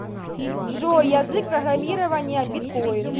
джой язык программирования биткоин